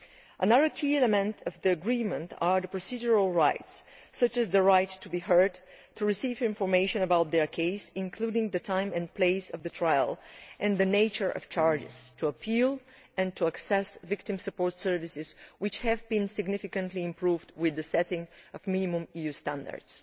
Another key element of the agreement are procedural rights such as the right to be heard, the right to receive information about their case including the time and place of the trial and the nature of the charges, the right of appeal and of access to victim support services, which have been significantly improved with the setting of minimum EU standards.